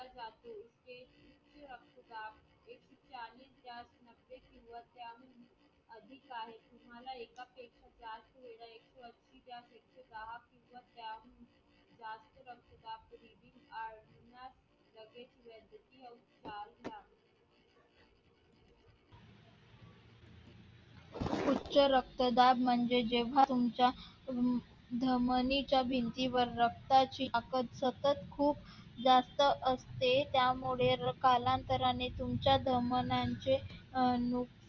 उच्च रक्तदाब म्हणजे जेव्हा तुमच्या धमनीच्या भिंतीवर रक्ताची आपण सतत खूप जास्त असते. त्यामुळे कालांतराने तुमच्या धमन्यांचे अनु